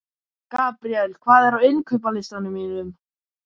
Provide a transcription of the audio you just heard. Gabríel, hvað er á innkaupalistanum mínum?